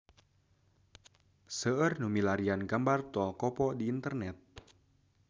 Seueur nu milarian gambar Tol Kopo di internet